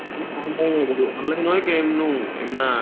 એમુ એમના